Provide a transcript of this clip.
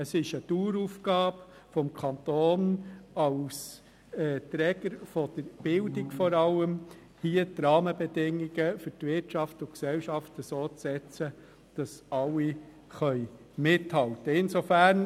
Es ist eine Daueraufgabe des Kantons, vor allem als Träger der Bildung, die Rahmenbedingungen für die Wirtschaft und die Gesellschaft so zu setzen, dass alle mithalten können.